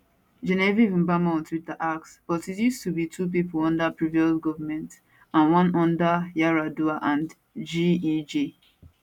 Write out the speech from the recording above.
genevieve mbama on twitter ask but it used to be 2 pipo under previous govment and one under yar adua and gej